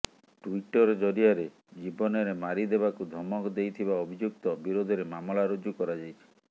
Twitter ଜରିଆରେ ଜୀବନରେ ମାରି ଦେବାକୁ ଧମକ ଦେଇଥିବା ଅଭିଯୁକ୍ତ ବିରୋଧରେ ମାମଲା ରୁଜୁ କରାଯାଇଛି